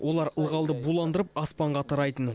олар ылғалды буландырып аспанға тарайтын